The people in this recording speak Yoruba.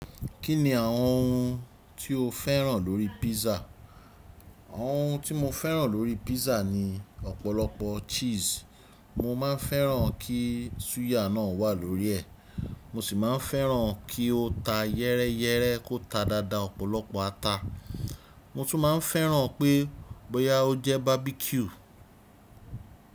Kí ni àwọn ohun tí o féràn lórí pizza? Ohun tí mo féràn lórí pizza ni ọ̀pọ̀lọpọ̀ cheese. Mo maa n féràn kí súyà náà wà lórí ẹ̀, mo sì máa n féràn kí ó ta yẹ́rẹ́yẹ́rẹ́ kó ta dáadáa, ọ̀pọ̀lọpọ̀ ata. Mo tún máa n féràn pé bóyá ó jẹ́ barbecue.